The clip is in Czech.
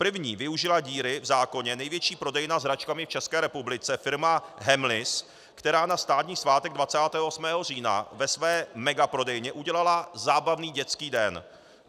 První využila díry v zákoně největší prodejna s hračkami v České republice, firma Hemleys, která na státní svátek 28. října ve své megaprodejně udělala zábavní dětský den.